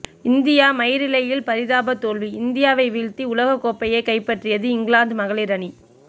இந்தியாமயிரிழையில் பரிதாப தோல்வி இந்தியாவை வீழ்த்தி உலகக் கோப்பையை கைப்பற்றியது இங்கிலாந்து மகளிர் அணி